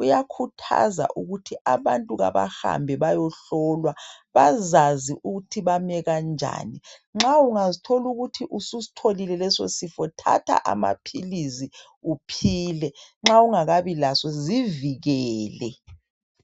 Uyakhuthaza ukuthi abantu kabahambe bayehlolwa. Bazazi ukuthi bame kanjani. Nxa ungazithola ukuthi ususitholile leso sifo, thatha amaphilisi uphile. Nxa ungakabi laso, zivikele.